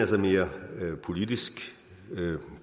sådan mere politiske og